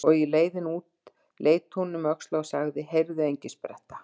Og á leiðinni út leit hún um öxl og sagði: Heyrðu, Engispretta.